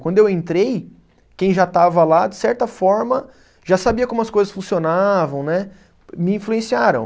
Quando eu entrei, quem já estava lá, de certa forma, já sabia como as coisas funcionavam, né, me influenciaram.